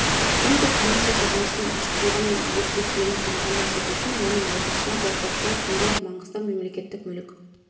конкурс комиссиясы жұмысының ашықтылығы мен объективтілігін қамтамасыз ету үшін оның отырысына байқаушылар сондай-ақ маңғыстау мемлекеттік мүлік